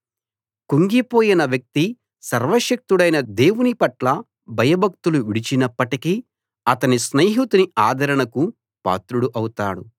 కుంగిపోయిన వ్యక్తి సర్వశక్తుడైన దేవుని పట్ల భయభక్తులు విడిచినప్పటికీ అతని స్నేహితుని ఆదరణకు పాత్రుడు అవుతాడు